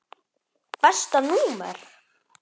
Besta númer?